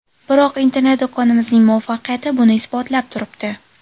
Biroq internet-do‘konimizning muvaffaqiyati buni isbotlab turibdi.